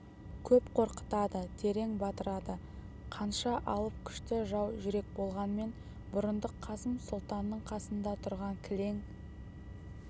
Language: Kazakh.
көп қорқытады терең батырады қанша алып күшті жау жүрек болғанмен бұрындық қасым сұлтанның қасында тұрған кілең